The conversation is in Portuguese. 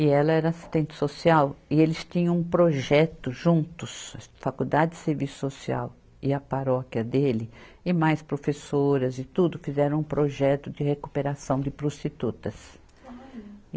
e ela era assistente social, e eles tinham um projeto juntos, a Faculdade de Serviço Social e a paróquia dele, e mais professoras e tudo, fizeram um projeto de recuperação de prostitutas.